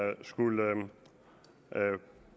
har skullet